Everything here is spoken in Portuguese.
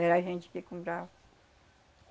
Era a gente que comprava.